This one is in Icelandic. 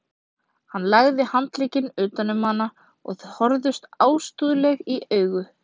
Hann lagði handlegginn utan um hana og þau horfðust ástúðlega í augu.